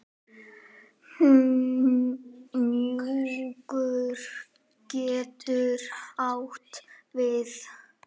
Hnjúkur getur átt við